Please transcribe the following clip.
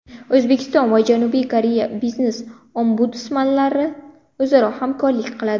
O‘zbekiston va Janubiy Koreya biznes-ombudsmanlari o‘zaro hamkorlik qiladi.